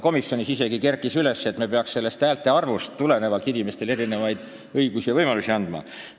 Komisjonis kerkis isegi teema, et me peaksime häälte arvust tulenevalt andma inimestele, Riigikogu liikmetele ja ka kohalike omavalitsuste volikogude liikmetele, õigusi ja võimalusi.